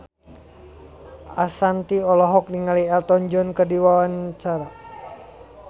Ashanti olohok ningali Elton John keur diwawancara